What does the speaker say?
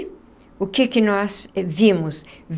O que que nós vimos?